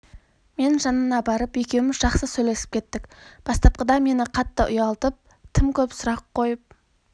мен жанына барып екеуіміз жақсы сөйлесіп кеттік бастапқыда мені қатты ұялтып тым көп сұрақ қойып